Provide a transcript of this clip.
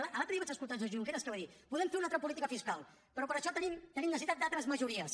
l’altre dia vaig escoltar el senyor junqueras que va dir podem fer una altra política fiscal però per a això tenim necessitat d’altres majories